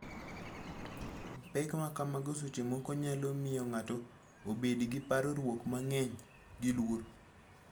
Pek ma kamago seche moko nyalo miyo ng'ato obed gi parruok mang'eny. Gi luor